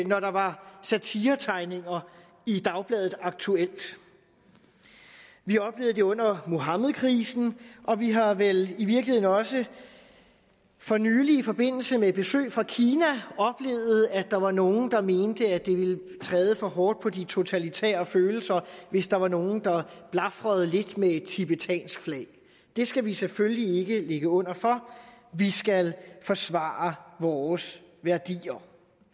når der var satiretegninger i dagbladet aktuelt vi oplevede det under muhammedkrisen og vi har vel i virkeligheden også for nylig i forbindelse med et besøg fra kina oplevet at der var nogen der mente at det ville være træde for hårdt på de totalitære følelser hvis der var nogen der blafrede lidt med et tibetansk flag det skal vi selvfølgelig ikke ligge under for vi skal forsvare vores værdier